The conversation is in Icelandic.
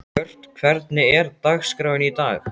Björt, hvernig er dagskráin í dag?